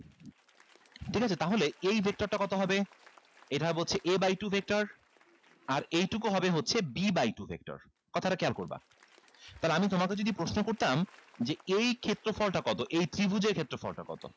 ঠিক আছে তাহলে এই vector টা কত হবে এটা হবে হচ্ছে a by two vector আর এইটুকু হবে হচ্ছে b by two vector কথাটা খেয়াল করবা তাহলে আমি তোমাকে যদি প্রশ্ন করতাম যে এই ক্ষেত্রফলটা কত এই ত্রিভুজের ক্ষেত্রফলটা কত